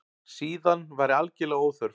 Síðan væri algerlega óþörf